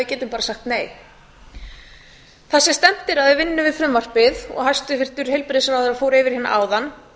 getum bara sagt nei það sem stefnt er að við vinnu við frumvarpið og hæstvirtur heilbrigðisráðherra fór yfir hér áðan